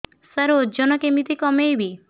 ସାର ଓଜନ କେମିତି କମେଇବି